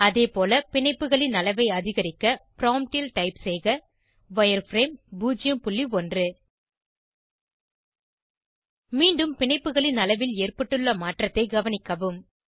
அதேபோல பிணைப்புகளின் அளவை அதிகரிக்க ப்ராம்ப்ட் ல் டைப் செய்க வயர்ஃப்ரேம் 01 மீண்டும் பிணைப்புகளின் அளவில் ஏற்பட்டுள்ள மாற்றத்தை கவனிக்கவும்